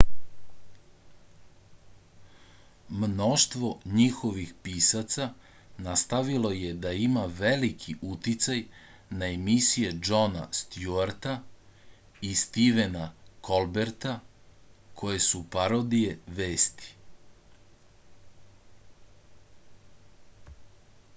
mnoštvo njihovih pisaca nastavilo je da ima veliki uticaj na emisije džona stjuarta i stivena kolberta koje su parodije vesti